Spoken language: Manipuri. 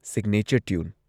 signature tune